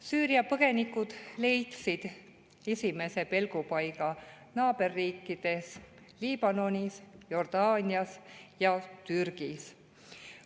Süüria põgenikud leidsid esimese pelgupaiga naaberriikides Liibanonis, Jordaanias ja Türgis.